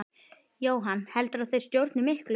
Jóhann: Heldurðu að þeir stjórni miklu?